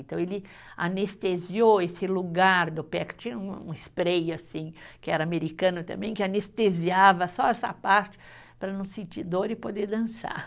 Então, ele anestesiou esse lugar do pé, que tinha um um spray, assim, que era americano também, que anestesiava só essa parte para não sentir dor e poder dançar.